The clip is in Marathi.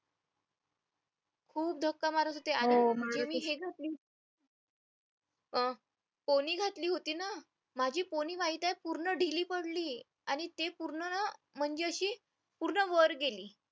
खूप धक्का मारत होते पोनी घातली होती ना माझी पोनी माहितीये पूर्ण पडली आणि ते पूर्ण ना म्हणजे अशी पूर्ण वर गेली